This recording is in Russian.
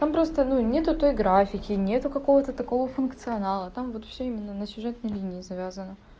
там просто ну нет той графики нет какого-то такого функционала там вот всё именно на сюжетной линии завязано